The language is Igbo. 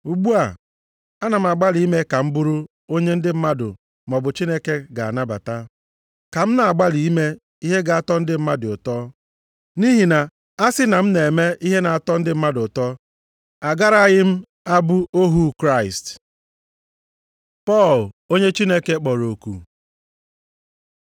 Ugbu a, ana m agbalị ime ka m bụrụ onye ndị mmadụ maọbụ Chineke ga-anabata? Ka m na-agbalị ime ihe ga-atọ ndị mmadụ ụtọ? Nʼihi na a sị na m na-eme ihe na-atọ ndị mmadụ ụtọ, agaraghị m abụ ohu Kraịst. Pọl, onye Chineke kpọrọ oku